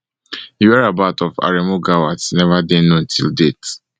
di whereabout of aremu gawat never dey known till date